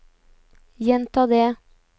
gjenta det